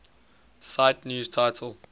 cite news title